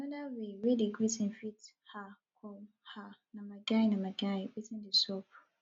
anoda way wey di greeting fit um com um na my guy na my guy wetin dey sup